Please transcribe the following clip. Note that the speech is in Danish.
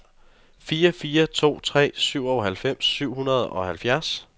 fire fire to tre syvoghalvfems syv hundrede og halvfjerds